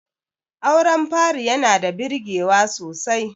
auren fari yana da birgewa sosai